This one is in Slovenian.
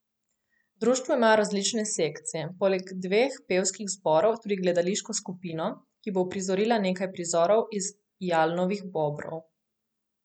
V društvu imajo različne sekcije, poleg dveh pevskih zborov tudi gledališko skupino, ki bo uprizorila nekaj prizorov iz Jalnovih Bobrov.